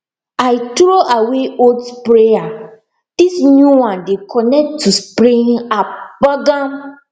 i throw away old sprayer this new one dey connect to spraying app gbagam